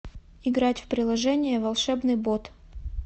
играть в приложение волшебный бот